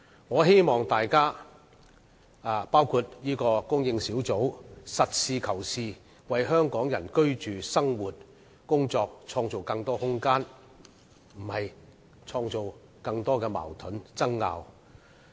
我希望大家，包括專責小組可以實事求是，為香港人的居住、生活和工作創造更多空間，而非創造更多矛盾和爭拗。